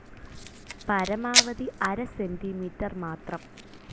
പരമാവധി അര സെന്റിമീറ്റർ മാത്രം.